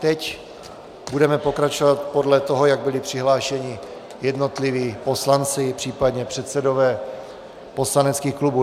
Teď budeme pokračovat podle toho, jak byly přihlášeni jednotliví poslanci, případně předsedové poslaneckých klubů.